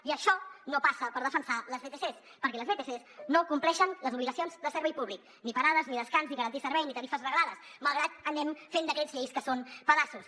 i això no passa per defensar les vtcs perquè les vtcs no compleixen les obligacions de servei públic ni parades ni descans ni garantir servei ni tarifes reglades malgrat que anem fent decrets llei que són pedaços